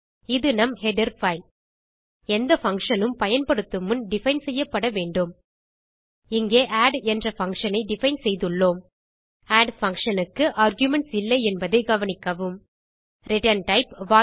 இது நம் header file எந்த பங்ஷன் உம் பயன்படுத்தும் முன் டிஃபைன் செய்யப்பட வேண்டும் இங்கே ஆட் என்ற பங்ஷன் ஐ டிஃபைன் செய்துள்ளோம் ஆட் functionக்கு ஆர்குமென்ட்ஸ் இல்லை என்பதை கவனிக்கவும் ரிட்டர்ன் டைப்